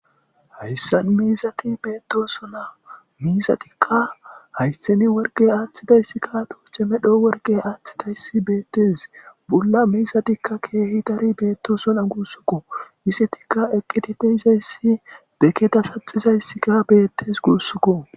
Hayssan miizatta bettossona miizatikka hayththan worqqe aththidayssika tooce medho worqqe aththidaysi bettes buula miizatika kehi daari bettossona guusuko izzetika eqqidi deizayssi be geeda saxxizayssika bettes gussuko.